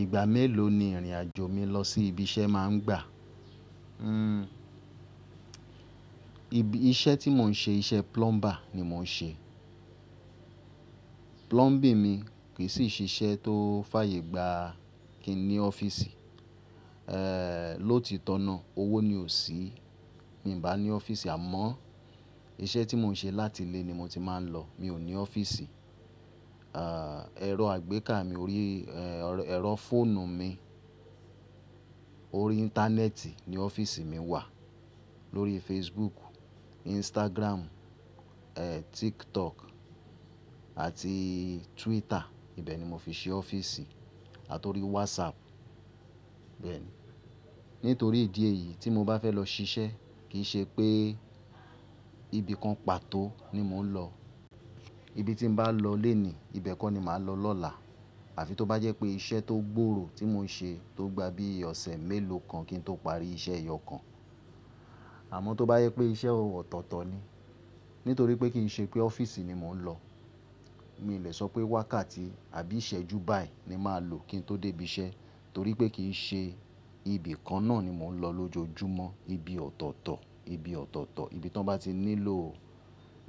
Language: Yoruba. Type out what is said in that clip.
Ìgbà mélòó ni ìrìn àjò mi lọ sí ibi iṣẹ́ mà ń gba? Iṣẹ́ tí mò ń ṣe, iṣẹ́ plumber ni mò ń ṣe. Plumbing mi, kì í ṣe iṣẹ́ tó fàyè gba kí n ní ọ́fíìsì. Lo titọ́na owó ni ò sí. Mi ò bá ní ọ́fíìsì àmọ́ iṣẹ́ tí mò ń ṣe, láti ilé ni mo ti máa ń lọ. Mi ò ní ọ́fíìsì. Erọ àgbéká mi, erọ fóònù mi, orí íńtánẹ́ẹ̀tì ni ọ́fíìsì mi wà. Lórí Facebook, Instagram, TikTok àti Twitter. Ibẹ̀ ni mo fi ṣe ọ́fíìsì àti orí WhatsApp bẹ́ẹ̀ ni. Nítorí ìdí èyí, tí mo bá fẹ́ lọ ṣiṣẹ́ kì í ṣe pé ibi kan pàtó ni mò ń lọ. Ibi tí n bá lọ léènì, ibẹ̀ kọ́ ni màá lọ lọ́la. Àfi tó bá jẹ́ pé iṣẹ́ tó gbòòrò, tí mò ń ṣe, tó gba bí i ọ̀sẹ̀ mélòó kan kí n tó parí iṣẹ́ eyọ̀ kan. Àmọ́ tó bá jẹ́ pé iṣẹ́ ọ̀tọ̀ọ̀tọ̀ ni, nítorí pé kì í ṣe pé ọ́fíìsì ni mò ń lọ. Mi ò lè sọ pé wákàtí, àbí ìṣẹ́jú báì ni màá lò kí n tó dé ibi iṣẹ́. Torí pé kì í ṣe ibi kan náà ni mò ń lọ lójoojúmọ́. Ibi ọ̀tọ̀ọ̀tọ̀, ibi tí wọ́n bá ti nílò